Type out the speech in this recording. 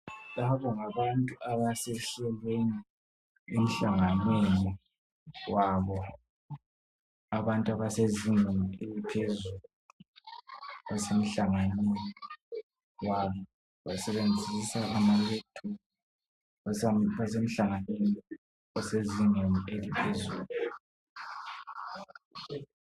Laba ngabantu abasehlelweni lwemhlanganweni wabo abantu abasezingeni eliphezulu basemhlanganweni yabo basebenzisa ama laptop basemhlanganweni osezingeni eliphezulu.